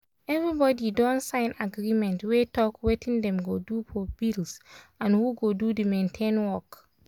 everybody don sign agreement wey talk wetin dem go do for bills and who go do the maintain work.